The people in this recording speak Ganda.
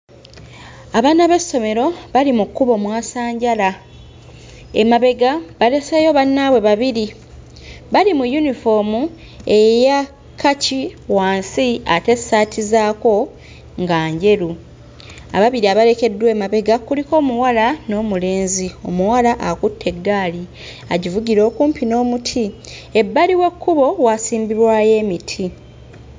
Abaana b'essomero bali mu kkubo mwasanjala, emabega baleseeyo bannaabwe babiri. Bali mu yunifoomu eyakkaki wansi ate essaati zaako nga njeru. Ababiri abalekeddwa emabega kuliko omuwala n'omulenzi. Omuwala akutte eggaali agivugira okumpi n'omuti, Ebbali w'ekkubo waasimbibwayo omuti.